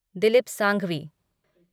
Dilip Sanghvi